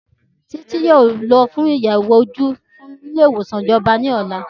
Títí yóò lọ fún àyẹ̀wò ojú nílé ìwòsàn ìjọba ní ọ̀la